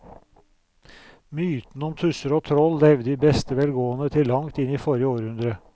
Mytene om tusser og troll levde i beste velgående til langt inn i forrige århundre.